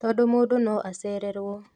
Tondũ mũndũ no acererwo